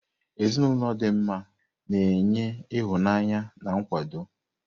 Ezinụlọ dị mma na-enye ịhụnanya na nkwado.